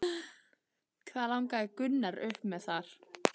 Hvað lagði Gunnar upp með þar?